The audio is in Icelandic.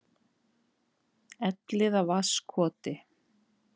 Elliðavatnskoti